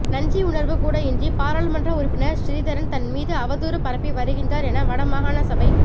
நன்றியுணர்வு கூட இன்றி பாராளுமன்ற உறுப்பினா் சிறிதரன் தன் மீது அவதூறு பரப்பி வருகின்றாா் என வட மாகாண சபை